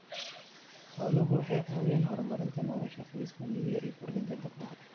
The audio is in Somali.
Xooluhu waxay caawiyaan horumarinta nolosha qoysaska miyiga iyo kordhinta dakhliga.